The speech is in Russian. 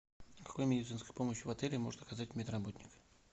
какую медицинскую помощь в отеле может оказать мед работник